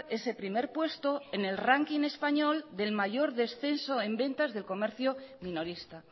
ese primer puesto en el ranking español del mayor descenso en ventas del comercio minorista